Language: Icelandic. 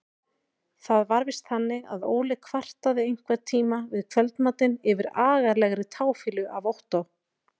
Það var víst þannig að Óli kvartaði einhverntíma við kvöldmatinn yfir agalegri táfýlu af Ottó.